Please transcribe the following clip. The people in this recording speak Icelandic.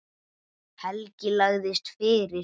Helgi lagðist fyrir.